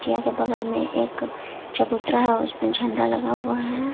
बगल में एक चबूतरा है और उसमें झंडा लगा हुआ है।